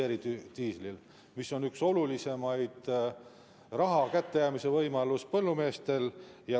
See on põllumeestele üks olulisemaid raha kättejäämise võimalusi.